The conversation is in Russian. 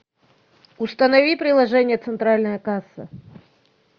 установи приложение центральная касса